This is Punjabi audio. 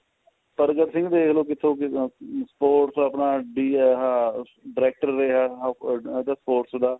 ਪਰ ਦਿਖ ਲੋ ਕਿੱਥੋ ਕਿੱਦਾ sports ਆਪਣਾ D ਆਇਆ ਹੋਇਆ director way ਆਇਆ ਹੋਇਆ another post ਦਾ